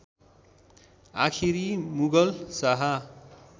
आखिरी मुगल शाह